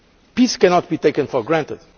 Peace cannot be taken for granted.